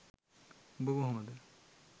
උඹ කොහොමද